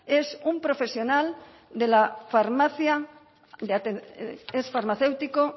es un profesional farmacéutico